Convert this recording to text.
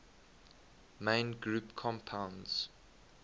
main group compounds